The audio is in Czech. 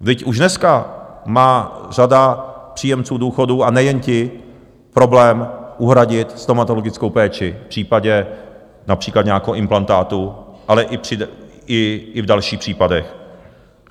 Vždyť už dneska má řada příjemců důchodů, a nejen ti, problém uhradit stomatologickou péči v případě například nějakého implantátu, ale i v dalších případech.